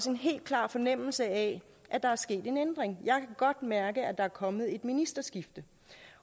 en helt klar fornemmelse af at der er sket en ændring jeg kan godt mærke at der er kommet et ministerskifte